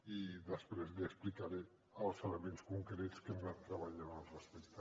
i després li explicaré els elements concrets que hem anat treballant al respecte